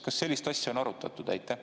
Kas sellist asja on arutatud?